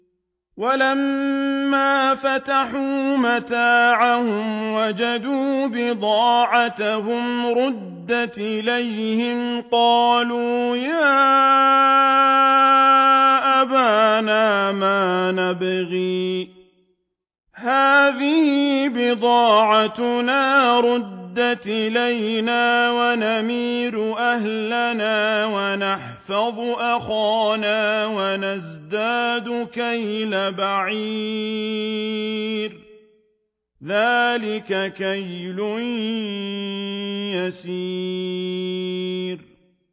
وَلَمَّا فَتَحُوا مَتَاعَهُمْ وَجَدُوا بِضَاعَتَهُمْ رُدَّتْ إِلَيْهِمْ ۖ قَالُوا يَا أَبَانَا مَا نَبْغِي ۖ هَٰذِهِ بِضَاعَتُنَا رُدَّتْ إِلَيْنَا ۖ وَنَمِيرُ أَهْلَنَا وَنَحْفَظُ أَخَانَا وَنَزْدَادُ كَيْلَ بَعِيرٍ ۖ ذَٰلِكَ كَيْلٌ يَسِيرٌ